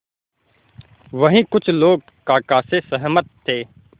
वहीं कुछ लोग काका से सहमत थे